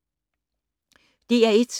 DR1